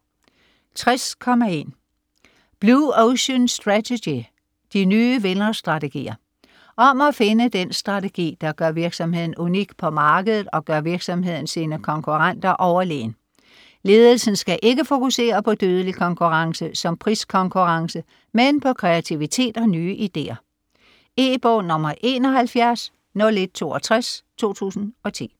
60.1 Blue ocean strategy: de nye vinderstrategier Om at finde den strategi, der gør virksomheden unik på markedet, og gør virksomheden sine konkurrenter overlegen. Ledelsen skal ikke fokusere på dødelig konkurrence, som priskonkurrence, men på kreativitet og nye ideer. E-bog 710162 2010.